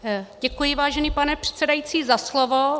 Děkuji, vážený pane předsedající, za slovo.